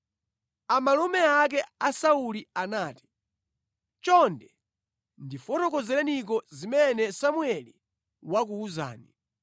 Amalume ake a Sauli anati, “Chonde, ndifotokozereniko zimene Samueli wakuwuzani.”